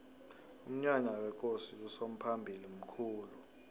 umnyanya wekosi usomphalili mkhulu